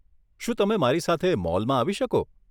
શું તમે મારી સાથે મોલમાં આવી શકો?